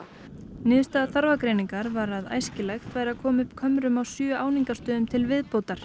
niðurstaða þarfagreiningar var að æskilegt væri að koma upp kömrum á sjö áningastöðum til viðbótar